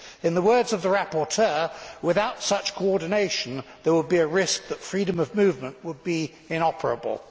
In the words of the rapporteur, without such coordination there would be a risk that freedom of movement would be inoperable.